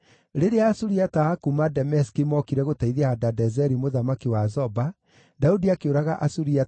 Rĩrĩa Asuriata a kuuma Dameski mookire gũteithia Hadadezeri mũthamaki wa Zoba, Daudi akĩũraga Asuriata 22,000.